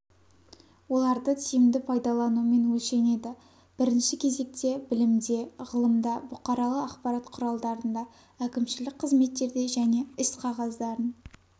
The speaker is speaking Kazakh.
оларды тиімді пайдаланумен өлшенеді бірінші кезекте білімде ғылымда бұқаралық ақпарат құралдарында әкімшілік қызметтерде және іс-қағаздарын